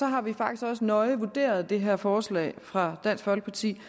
har vi faktisk også nøje vurderet det her forslag fra dansk folkeparti